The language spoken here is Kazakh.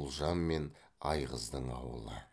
ұлжан мен айғыздың ауылы